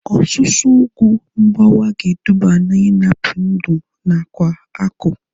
Ọsusu ugwu mgbawa ga-eduba na ịnapụ ndụ nakwa akụ